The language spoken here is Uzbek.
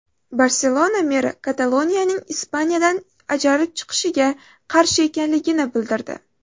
Barselona meri Kataloniyaning Ispaniyadan ajralib chiqishiga qarshi ekanligini bildirdi.